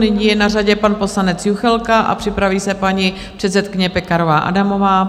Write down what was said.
Nyní je na řadě pan poslanec Juchelka a připraví se paní předsedkyně Pekarová Adamová.